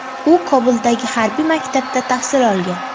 U Kobuldagi harbiy maktabda tahsil olgan.